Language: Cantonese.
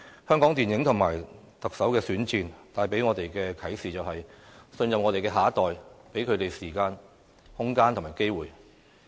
香港電影和特首選戰，帶給我們的啟示是，信任我們的下一代，給他們時間、空間和機會。